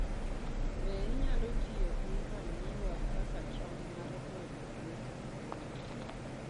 Be inyalo tiyo gi manyiwa kaka cham mar medo liet e brooder?